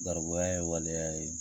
Garibuya ye waleya ye